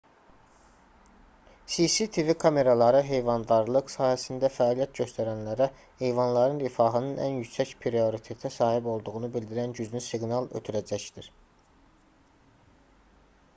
cctv kameraları heyvandarlıq sahəsində fəaliyyət göstərənlərə heyvanların rifahının ən yüksək prioritetə sahib olduğunu bildirən güclü siqnal ötürəcəkdir